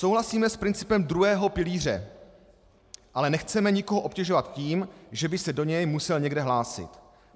"Souhlasíme s principem druhého pilíře, ale nechceme nikoho obtěžovat tím, že by se do něj musel někde hlásit.